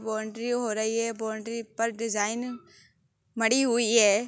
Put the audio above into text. Boundary हो रही है। बाउन्ड्री पर डिजाइन मड़ी हुई हैं।